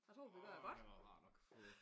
Åh det har været rart at få